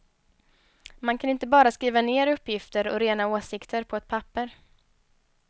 Man kan inte bara skriva ner uppgifter och rena åsikter på ett papper.